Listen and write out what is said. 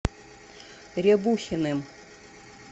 рябухиным